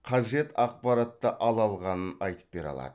қажет ақпаратты ала алғанын айтып бере алады